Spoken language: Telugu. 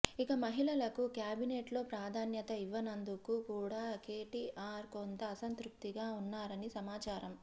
ఇక మహిళలకు క్యాబినెట్ లో ప్రాధాన్యత ఇవ్వనందుకు కూడా కెటిఆర్ కొంత అసంతృప్తిగా ఉన్నారని సమాచారం